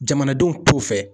Jamanadenw t'o fɛ.